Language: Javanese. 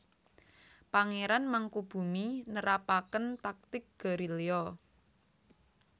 Pangéran Mangkubummi nerapaken taktik gerilya